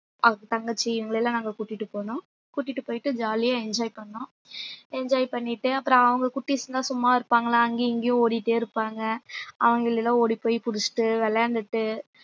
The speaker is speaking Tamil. அஹ் தங்கச்சி இவங்களை எல்லாம் நாங்க கூட்டிட்டு போனோம் கூட்டிட்டு போயிட்டு jolly ஆ enjoy பண்ணோம் enjoy பண்ணிட்டு அப்புறம் அவங்க குட்டீஸ் எல்லாம் சும்மா இருப்பாங்களா அங்கேயும் இங்கேயும் ஓடிட்டே இருப்பாங்க அவங்களை எல்லாம் ஓடிப்போய் புடிச்சிட்டு விளையாண்டுட்டு